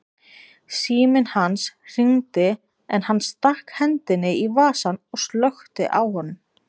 Síminn hans hringdi en hann stakk hendinni í vasann og slökkti á honum.